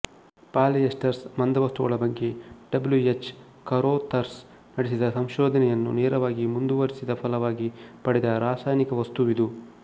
polyesters ಮಂದವಸ್ತುಗಳ ಬಗ್ಗೆ W H Carothers ನಡೆಸಿದ ಸಂಶೋಧನೆಯನ್ನು ನೇರವಾಗಿ ಮುಂದುವರಿಸಿದ ಫಲವಾಗಿ ಪಡೆದ ರಾಸಾಯನಿಕ ವಸ್ತುವಿದು